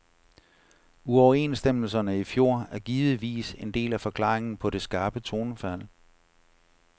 Uoverenstemmelserne i fjor er givetvis en del af forklaringen på det skarpe tonefald.